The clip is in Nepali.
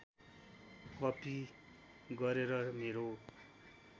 कपी गरेर मेरो